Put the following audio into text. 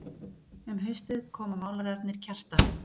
Um haustið koma málararnir Kjartan